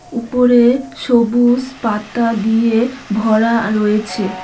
উপরে সবুজ পাতা দিয়ে ভরা রয়েছে।